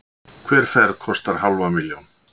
Hver ferð kostar hálfa milljón.